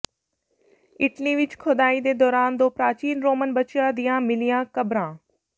Italy ਵਿੱਚ ਖੋਦਾਈ ਦੌਰਾਨ ਦੋ ਪ੍ਰਾਚੀਨ ਰੋਮਨ ਬੱਚਿਆਂ ਦੀਆਂ ਮਿਲੀਆਂ ਕਬਰਾਂ